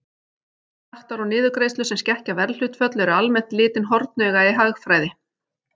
Skattar og niðurgreiðslur sem skekkja verðhlutföll eru almennt litin hornauga í hagfræði.